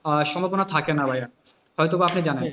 আহ সম্ভাবনা থাকে না ভাইয়া হয়তো বা আপনি জানেন,